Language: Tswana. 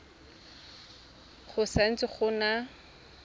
go sa ntse go na